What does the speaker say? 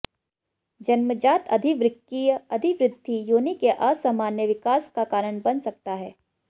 जन्मजात अधिवृक्कीय अधिवृद्धि योनि के असामान्य विकास का कारण बन सकता है